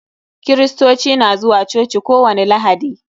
Kirirstoci na zuwa coci ko wani lahadi.